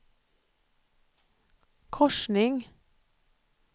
korsning